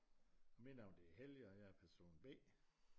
Og mit navn det er Helge og jeg er person B